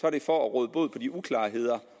er det for at råde bod på de uklarheder